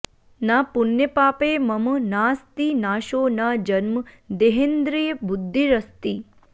न पुण्यपापे मम नास्ति नाशो न जन्म देहेन्द्रियबुद्धिरस्ति